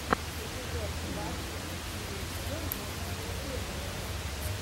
эпизод двадцать четыре сезон восемь последователя